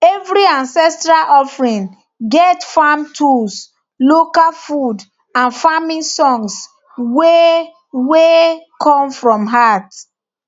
every ancestral offering get farm tools local food and farming songs wey wey come from heart